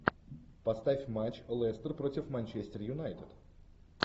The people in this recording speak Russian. поставь матч лестер против манчестер юнайтед